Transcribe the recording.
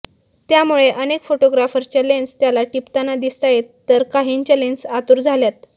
त्यामुळे अनेक फोटोग्राफर्सच्या लेन्स त्याला टिपताना दिसतायेत तर काहींच्या लेन्स आतुर झाल्यात